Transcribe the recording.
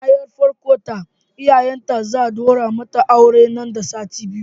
Nana yar farkon ta iyayenta za'a daura mata aure nan da sati biyu.